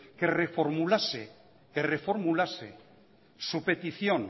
que reformulase su petición